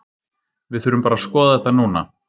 Við þurfum bara að skoða þetta núna.